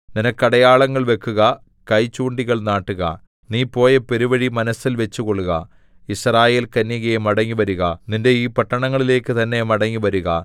നിനക്ക് അടയാളങ്ങൾ വെക്കുക കൈചൂണ്ടികൾ നാട്ടുക നീ പോയ പെരുവഴി മനസ്സിൽ വച്ചുകൊള്ളുക യിസ്രായേൽകന്യകേ മടങ്ങിവരുക നിന്റെ ഈ പട്ടണങ്ങളിലേക്ക് തന്നെ മടങ്ങിവരുക